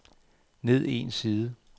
ned en side